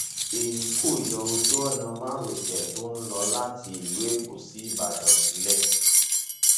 èyí kò yọ ojú ọnà márosẹ tó lọ láti ìlú èkó sí ìbàdàn sílẹ